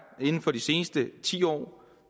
inden for de seneste ti år